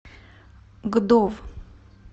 гдов